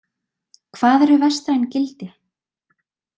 Hvað eru vestræn gildi?